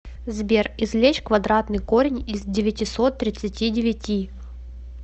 сбер извлечь квадратный корень из девятисот тридцати девяти